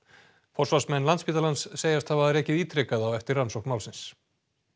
forsvarsmenn Landspítalans segjast hafa rekið ítrekað á eftir rannsókn málsins